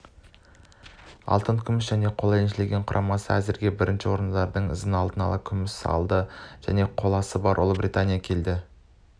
алтын күміс және қола еншілеген құрамасы әзірге бірінші орында оның ізін ала алтын күміс және қоласы бар ұлыбритания келеді